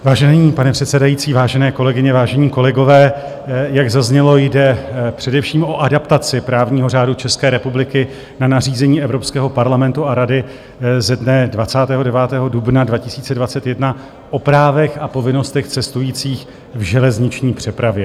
Vážený pane předsedající, vážené kolegyně, vážení kolegové, jak zaznělo, jde především o adaptaci právního řádu České republiky na nařízení Evropského parlamentu a Rady ze dne 29. dubna 2021 o právech a povinnostech cestujících v železniční přepravě.